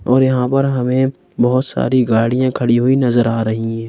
और यहाँ पर हमें बहुत सारी गाड़ियाँ खड़ी हुई नजर आ रही हैं।